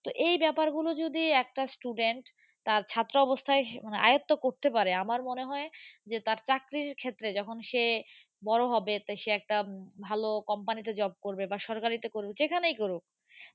তো এই ব্যাপারগুলো যদি একটা student তার ছাত্র অবস্থায় মানে আয়ত্ত করতে পারে, আমার মনে হয় যে তার চাকরির ক্ষেত্রে যখন সে বড়ো হবে সে একটা ভালো company তে job করবে, বা সরকারিতে করবে, যেখানেই করুক